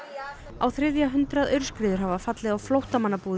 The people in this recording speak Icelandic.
á þriðja hundrað aurskriður hafa fallið á flóttamannabúðir